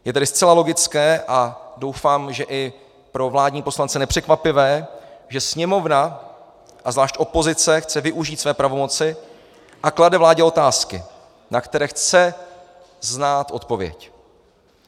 Je tedy zcela logické, a doufám, že i pro vládní poslance nepřekvapivé, že Sněmovna a zvlášť opozice chce využít své pravomoci a klade vládě otázky, na které chce znát odpověď.